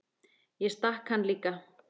Ég stakk hann líka.